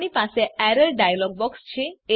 આપણી પાસે error dialog box છે